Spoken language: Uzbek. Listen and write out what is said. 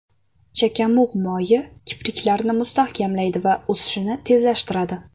Chakamug‘ moyi kipriklarni mustahkamlaydi va o‘sishini tezlashtiradi.